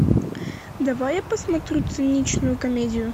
давай я посмотрю ценичную комедию